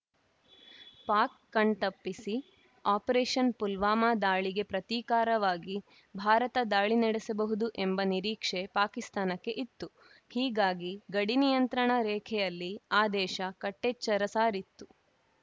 ಪಾಕ್‌ ಕಣ್ತಪ್ಪಿಸಿ ಆಪರೇಷನ್‌ ಪುಲ್ವಾಮಾ ದಾಳಿಗೆ ಪ್ರತೀಕಾರವಾಗಿ ಭಾರತ ದಾಳಿ ನಡೆಸಬಹುದು ಎಂಬ ನಿರೀಕ್ಷೆ ಪಾಕಿಸ್ತಾನಕ್ಕೆ ಇತ್ತು ಹೀಗಾಗಿ ಗಡಿನಿಯಂತ್ರಣ ರೇಖೆಯಲ್ಲಿ ಆ ದೇಶ ಕಟ್ಟೆಚ್ಚರ ಸಾರಿತ್ತು